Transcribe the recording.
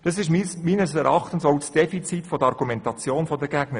Dies ist meines Erachtens auch das Defizit der Argumentation der Gegner.